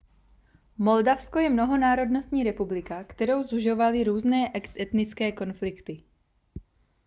moldavsko je mnohonárodnostní republika kterou sužovaly různé etnické konflikty